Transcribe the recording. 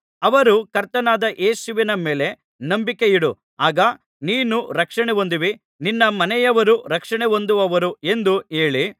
ಅವರು ಕರ್ತನಾದ ಯೇಸುವಿನ ಮೇಲೆ ನಂಬಿಕೆಯಿಡು ಆಗ ನೀನು ರಕ್ಷಣೆ ಹೊಂದುವಿ ನಿನ್ನ ಮನೆಯವರೂ ರಕ್ಷಣೆಹೊಂದುವರು ಎಂದು ಹೇಳಿ